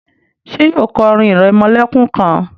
ṣe yíò kọ orin iremolekun kán?